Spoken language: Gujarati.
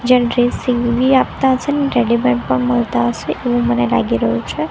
જેન્ટ્રી સીવી આપતા છે ને રેડીમેડ પણ મળતા અસે એવુ મને લાગી રહ્યુ છે.